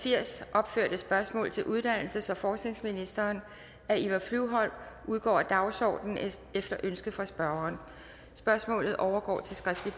opførte spørgsmål til uddannelses og forskningsministeren af eva flyvholm udgår af dagsordenen efter ønske fra spørgeren spørgsmålet overgår til skriftlig